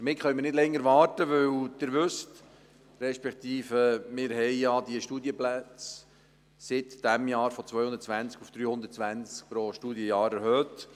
Damit können wir nicht länger warten, denn wir haben seit diesem Jahr die Anzahl Studienplätze von 220 auf 320 pro Studienjahr erhöht.